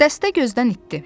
Dəstə gözdən itdi.